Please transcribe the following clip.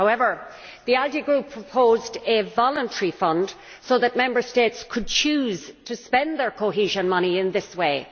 However, the ALDE Group proposed a voluntary fund so that Member States could choose to spend their cohesion money in this way.